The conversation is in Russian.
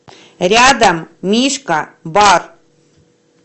рядом мишка бар